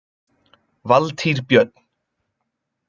Valtýr Björn.